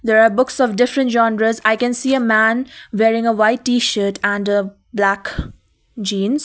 there are books of different genres i can see a man wearing a white t-shirt and a black jeans.